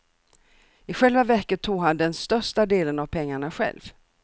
I själva verket tog han den största delen av pengarna själv.